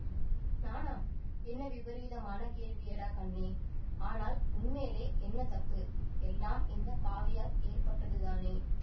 நானா என்ன விபரீதமான கேள்வியடா கண்ணே ஆனால் உன்மேலே என்ன தப்பு எல்லாம் இந்த பாவியால் ஏற்பட்டதுதானே